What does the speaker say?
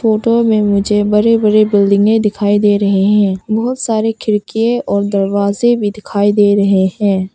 Photo में मुझे बड़ी बड़ी बिल्डिंगें दिखाई दे रही हैं बहोत सारी खिड़किए और दरवाजे भी दिखाई दे रहे हैं।